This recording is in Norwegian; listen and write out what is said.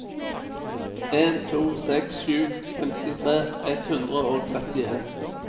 en to seks sju femtitre ett hundre og trettien